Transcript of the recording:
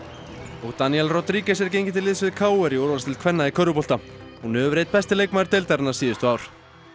og Danielle Rodriguez er gengin til liðs við k r í úrvalsdeild kvenna í körfubolta hún hefur verið einn besti leikmaður deildarinnar síðustu ár